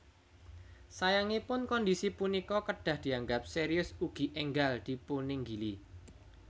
Sayangipun kondisi punika kedah dianggap serius ugi enggal dipuninggili